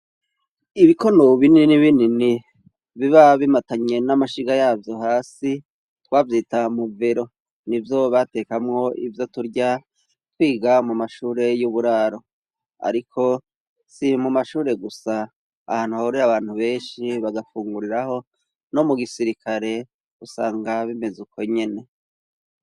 Ibikono binini bikini biba bimatanye n'amashiga yavyo hasi, twavyita muvero. Ni vyo batekamwo ivyo turya, twiga mu mashure y'uburaro. Ariko si mu mashure gusa, ahantu hahurira abantu benshi bagafunguriraho, no mu gisirikare usanga bimeze ukwo nyene.